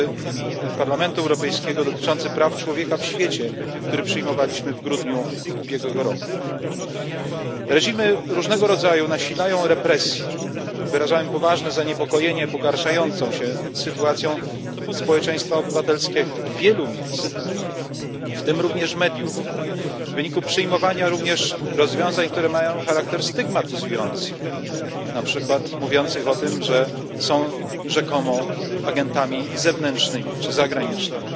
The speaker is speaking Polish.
sprawozdanie Parlamentu Europejskiego dotyczące praw człowieka w świecie, które przyjmowaliśmy w grudniu ubiegłego roku. Różnego rodzaju reżimy nasilają represje i wyrażam poważne zaniepokojenie pogarszającą się sytuacją społeczeństwa obywatelskiego w wielu miejscach, w tym także mediów, w wyniku przejmowania również rozwiązań, które mają charakter stygmatyzujący, na przykład mówienia o tym, że są rzekomo agentami zewnętrznymi czy zagranicznymi.